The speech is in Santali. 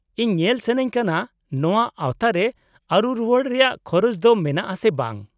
-ᱤᱧ ᱧᱮᱞ ᱥᱟᱹᱱᱟᱹᱧ ᱠᱟᱱᱟ ᱱᱚᱶᱟ ᱟᱶᱛᱟ ᱨᱮ ᱟᱹᱨᱩ ᱨᱩᱣᱟᱹᱲ ᱨᱮᱭᱟᱜ ᱠᱷᱚᱨᱚᱪ ᱫᱚ ᱢᱮᱱᱟᱜᱼᱟ ᱥᱮ ᱵᱟᱝ ᱾